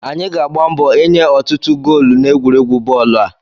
Anyị ga-agba mbọ ịnye ọtụtụ goolu n'egwuregwu bọọlụ a